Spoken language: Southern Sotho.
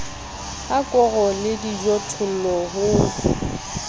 ha koro le dijothollo ho